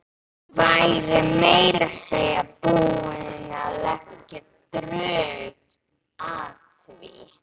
Væri meira að segja búin að leggja drög að því.